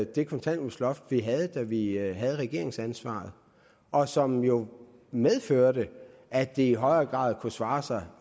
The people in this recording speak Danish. det kontanthjælpsloft vi havde da vi havde regeringsansvaret og som jo medførte at det i højere grad kunne svare sig